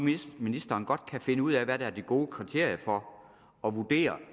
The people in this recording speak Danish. ministeren godt kan finde ud af hvad der er det gode kriterium for at vurdere